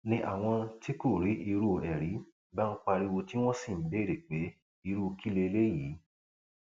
ni àwọn tí kò rí irú ẹ rí bá ń pariwo tí wọn sì ń béèrè pé irú kí lélẹyìí